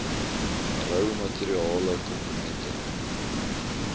rou materiale komponente